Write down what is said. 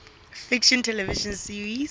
fiction television series